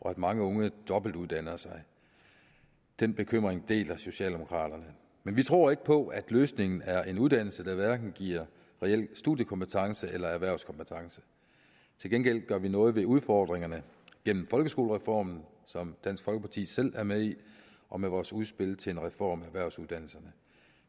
og at mange unge dobbeltuddanner sig den bekymring deler socialdemokraterne men vi tror ikke på at løsningen er en uddannelse der hverken giver reel studiekompetence eller erhvervskompetence til gengæld gør vi noget ved udfordringerne gennem folkeskolereformen som dansk folkeparti selv er med i og med vores udspil til en reform af erhvervsuddannelserne